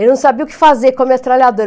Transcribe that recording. Ele não sabia o que fazer com a metralhadora.